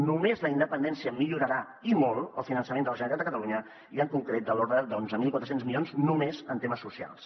només la independència millorarà i molt el finançament de la generalitat de catalunya i en concret de l’ordre d’onze mil quatre cents milions només en temes socials